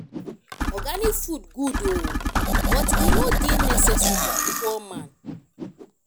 organic food good o but e no dey necessary for poor man